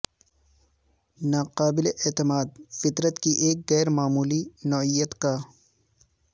ناقابل اعتماد فطرت کی ایک غیر معمولی نوعیت کا